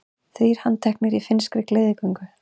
Þrír handteknir í finnskri gleðigöngu